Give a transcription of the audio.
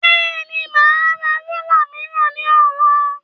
Bẹ́ẹ̀ni, màá ra rúlà mìíràn ní ọ̀la